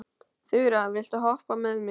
Þura, viltu hoppa með mér?